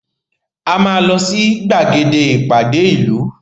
A máa lọ sí gbàgede ìpàdé ìlú